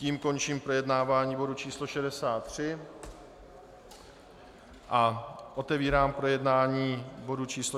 Tím končím projednávání bodu číslo 63 a otevírám projednání bodu číslo